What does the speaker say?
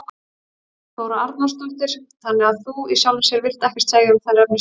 Þóra Arnórsdóttir: Þannig að þú í sjálfu sér vilt ekkert segja um þær efnislega?